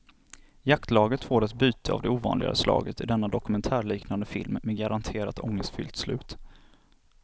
Jaktlaget får ett byte av det ovanligare slaget i denna dokumentärliknande film med garanterat ångestfyllt slut.